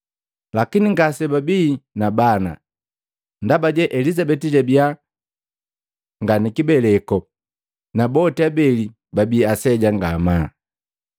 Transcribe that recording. Lakini ngasebabii na bana, ndabaje Elizabeti jabi nga nikibeleko, na boti abeli babii aseja ngamaa.